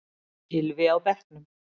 Gylfi á bekknum